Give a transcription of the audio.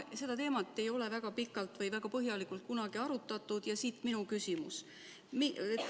Seda teemat ei ole väga pikalt või väga põhjalikult kunagi arutatud ja siit minu küsimus.